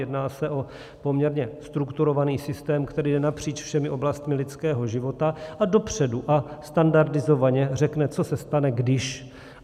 Jedná se o poměrně strukturovaný systém, který jde napříč všemi oblastmi lidského života a dopředu a standardizovaně řekne, co se stane když.